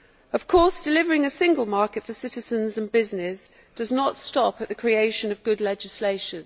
Of course, delivering a single market for citizens and business does not stop at the creation of good legislation.